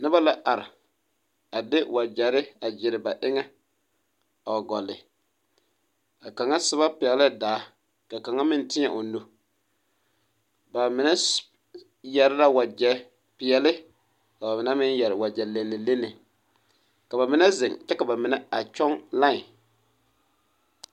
Noba la are a de wagyɛre a gyere ba eŋɛ a wa gɔle ba kaŋa soba pɛglɛɛ daa ka kaŋa meŋ teɛ o nu ba mine yɛre la wagyɛ peɛle ka ba mine meŋ yɛre wagyɛ lennelenne ka ba mine zeŋ kyɛ ka ba mine a kyɔŋ laen.